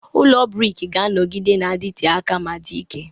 Ụlọ brik ga-anọgide na-adịte aka ma dị ike.